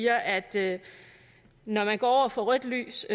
at det når man går over for rødt lys